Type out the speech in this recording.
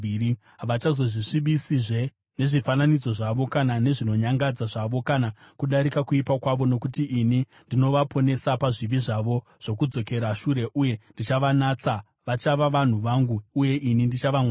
Havachazozvisvibisizve nezvifananidzo zvavo kana nezvinonyangadza zvavo kana kudarika kuipa kwavo, nokuti ini ndichavaponesa pazvivi zvavo zvokudzokera shure, uye ndichavanatsa. Vachava vanhu vangu uye ini ndichava Mwari wavo.